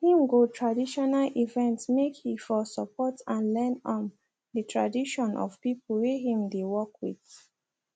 him go traditional event make he for support and learn um the tradition of people whey him dey work with